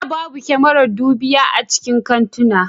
Da babu kamaran dubiya a cikin kantuna